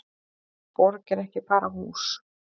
Borg er ekki bara hús.